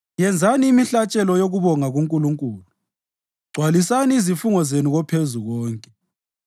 Yenzani imihlatshelo yokubonga kuNkulunkulu, gcwalisani izifungo zenu koPhezukonke,